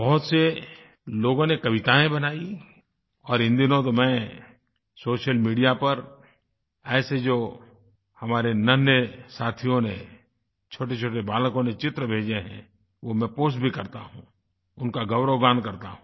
बहुत से लोगों ने कवितायें बनायी और इन दिनों तो मैं सोशल मीडिया पर ऐसे जो हमारे नन्हें साथियों ने छोटेछोटे बालकों ने चित्र भेजे हैं वो मैं पोस्ट भी करता हूँ उनका गौरवगान करता हूँ